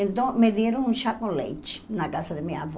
Então, me deram um chá com leite na casa da minha avó.